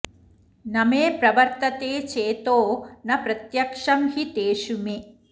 न मे प्रवर्तते चेतो न प्रत्यक्षं हि तेषु मे